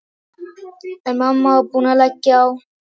En mamma var búin að leggja á.